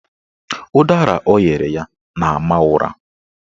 Ụdara o nyere ya na-ama ụra